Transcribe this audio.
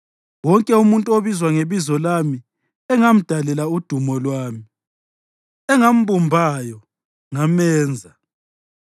wonke umuntu obizwa ngebizo lami, engamdalela udumo lwami, engambumbayo, ngamenza.”